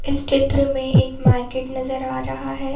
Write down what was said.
इस चित्र में एक मार्केट नजर आ रहा है।